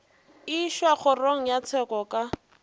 išwa kgorong ya tsheko ka